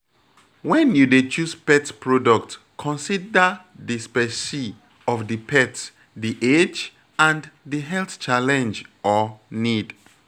When you dey choose pet product consider di specie of di pet the age and the health challenge or need